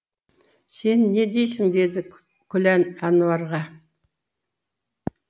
сен не дейсің деді күлән әнуарға